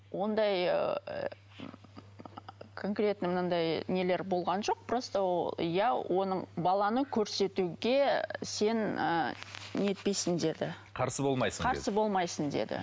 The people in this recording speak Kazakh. ондай ыыы конкретно мынандай нелер болған жоқ просто ол иә оның баланы көрсетуге сен ыыы нетпейсің деді қарсы болмайсың қарсы болмайсың деді